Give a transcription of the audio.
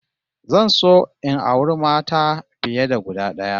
Zan so in auri mata fiye da guda d'aya